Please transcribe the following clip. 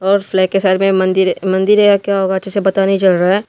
और फ्लैग के साथ में मंदिर मंदिर है या क्या होगा अच्छे से पता नहीं चल रहा है।